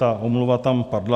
Ta omluva tam padla.